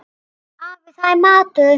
Afi, það er matur